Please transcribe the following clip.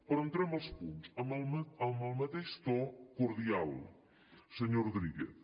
però entrem als punts amb el mateix to cordial senyor rodríguez